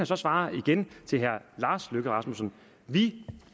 så svare igen til herre lars løkke rasmussen vi